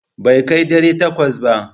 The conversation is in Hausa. Bai kai ɗari takwas ba.